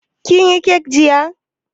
Kin yi kek jiya?